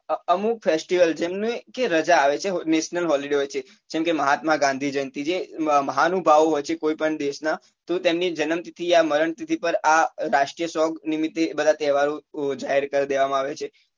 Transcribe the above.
અમુક festival જેમની કે રજા આવે છે national holiday હોય છે જેમકે મહાત્મા ગાંધી જયંતી મહાનુભાવો હોય છે કોઈ પણ દેશ ના તો તેમની જન્મ તિથી યા મરણ તિથી પર રાષ્ટીય song નિમિતે બધા તેહ્વારો જાહેર કર દેવામાં આવે છે